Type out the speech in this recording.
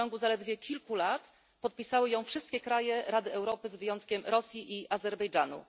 i w ciągu zaledwie kilku lat podpisały ją wszystkie kraje Rady Europy z wyjątkiem Rosji i Azerbejdżanu.